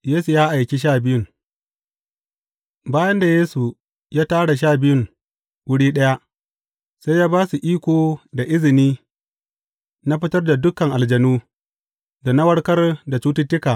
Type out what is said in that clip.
Yesu ya aiki sha biyun Bayan da Yesu ya tara Sha Biyun wuri ɗaya, sai ya ba su iko da izini na fitar da dukan aljanu, da na warkar da cututtuka.